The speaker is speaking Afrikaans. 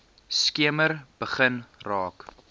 skemer begin raak